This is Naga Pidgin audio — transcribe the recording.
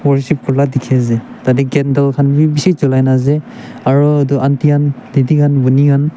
worship kurila dikhiase tatae candle khan bi bishi cholai na ase aro edu aunty khan didi khan bhoni khan.